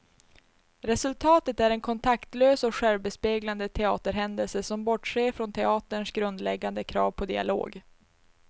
Resultatet är en kontaktlös och självbespeglande teaterhändelse som bortser från teaterns grundläggande krav på dialog.